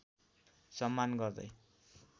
सम्मान गर्दै